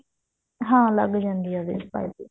ਹਾਂ ਲੱਗ ਜਾਂਦੀ ਹੈ ਉਹਦੇ ਚ ਪਾਈਪਿੰਨ